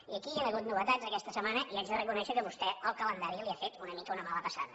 i aquí hi han hagut novetats aquesta setmana i haig de reconèixer que vostè el calendari li ha fet una mica una mala passada